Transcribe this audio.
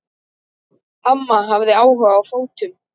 Amma hafði áhuga á fötum.